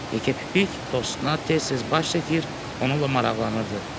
Yekəpipik dostuna tez-tez baş çəkir, onunla maraqlanırdı.